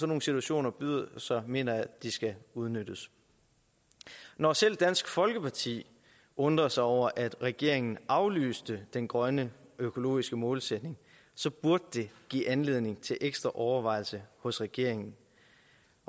nogle situationer byder sig mener jeg de skal udnyttes når selv dansk folkeparti undrer sig over at regeringen aflyste den grønne økologiske målsætning burde det give anledning til ekstra overvejelse hos regeringen